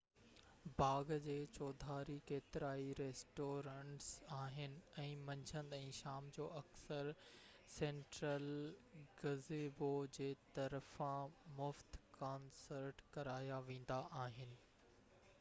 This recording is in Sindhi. باغ جي چوڌاري ڪيترائي ريسٽورينٽس آهن ۽ منجهند ۽ شام جو اڪثر سينٽرل گزيبو جي طرفان مفت ڪانسرٽ ڪرايا ويندا آهن